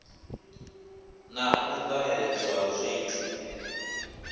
na u ṱahedzwa ha zwithu